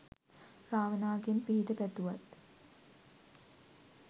රාවණගෙන් පිහිට පැතුවත්